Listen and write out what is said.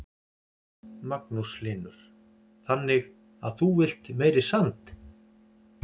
Magnús Hlynur: Þannig að þú villt meiri sand?